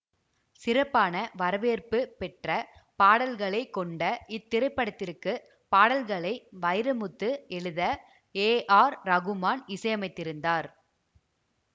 சிறப்பான வரவேற்பு பெற்ற பாடல்களை கொண்ட இத்திரைப்படத்திற்குபாடல்களை வைரமுத்து எழுத ஏ ஆர் ரகுமான் இசையமைத்திருந்தார்